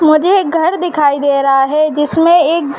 मुझे एक घर दिखाई दे रहा है। जिसमे एक --